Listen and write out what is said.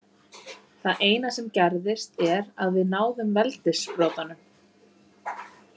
Það eina sem gerðist er að við náðum veldissprotanum.